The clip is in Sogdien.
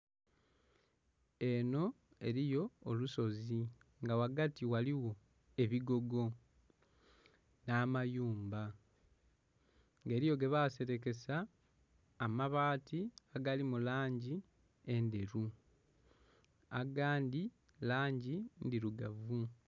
Enho eliyo olusozi nga ghagati ghaligho ebigogo nh'amayumba, nga eliyo gebaserekesa amabaati agali mu langi endheru agandhi langi ndhirugavu.